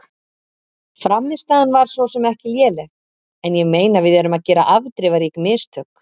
Frammistaðan var svo sem ekki léleg en ég meina við erum að gera afdrifarík mistök.